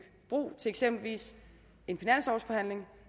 bro til eksempelvis en finanslovsforhandling